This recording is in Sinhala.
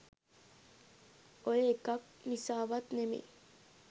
ඔය එකක් නිසාවත් නෙමෙයි